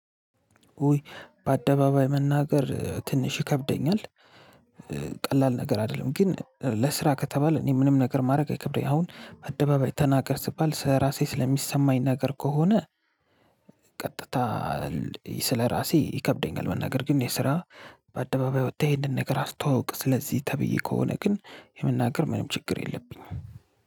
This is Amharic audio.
ውይ በአደባባይ መናገር ትንሽ ይከብደኛል። ቀላል ነገር አይደለም። ግን ለስራ ከተባለ እኔ ምንም ነገር ማድረግ አይከብደኝ። አሁን አደባባይ ተናገር ስባል ስለ ራሴ ስለሚሰማኝ ነገር ከሆነ- ቀጥታ ስለራሴ ይከብደኛል መናገር። ግን የስራ በአደባባይ ወተህ ይሄንን ነገር አስተዋውቅ ስለዚህ ተብዬ ከሆነ ግን የመናገር ምንም ችግር የለብኝም።